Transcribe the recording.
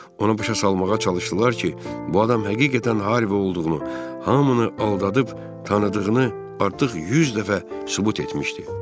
Ona başa salmağa çalışdılar ki, bu adam həqiqətən Harvi olduğunu, hamını aldadıb tanıdığını artıq yüz dəfə sübut etmişdi.